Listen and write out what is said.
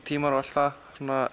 tímar og allt það